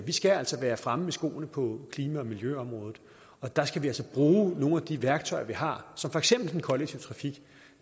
vi skal altså være fremme i skoene på klima og miljøområdet og der skal vi altså bruge nogle af de værktøjer vi har som for eksempel den kollektive trafik